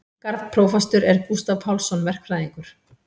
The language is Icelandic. Garðprófastur er Gústav Pálsson verkfræðingur.